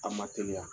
A ma teliya